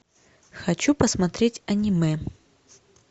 хочу посмотреть аниме